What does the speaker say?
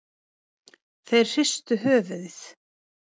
Þeir hristu höfuðið.